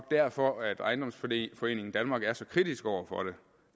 derfor at ejendomsforeningen danmark er så kritisk over for